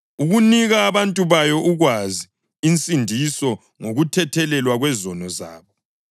ukunika abantu bayo ukwazi insindiso ngokuthethelelwa kwezono zabo,